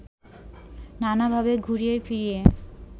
নানাভাবে ঘুরিয়ে ফিরিয়ে